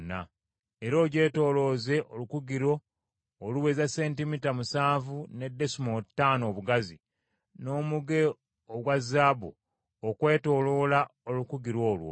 Era ogyetoolooze olukugiro oluweza sentimita musanvu ne desimoolo ttaano obugazi, n’omuge ogwa zaabu okwetooloola olukugiro olwo.